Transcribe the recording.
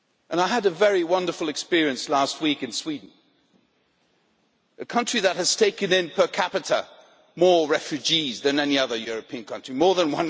I had a very wonderful experience last week in Sweden, a country that has taken in per capita more refugees than any other European country more than